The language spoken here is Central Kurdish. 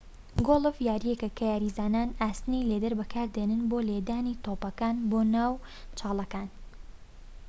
گۆڵف یاریەکە کە یاریزان ئاسنی لێدەر بەکاردێنێت بۆ لێدانی تۆپەکان بۆ ناو چاڵەکان